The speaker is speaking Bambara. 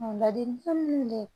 Ladilikan minnu be ye